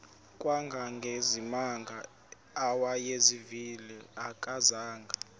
kangangezimanga awayezivile akazanga